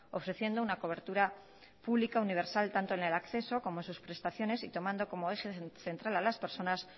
ofreciendo una cobertura pública universal tanto en el acceso como en sus prestaciones y tomando como eje central a las personas